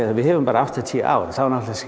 við höfum bara áttatíu ár þá náttúrulega